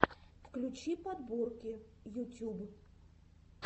включи подборки ютюб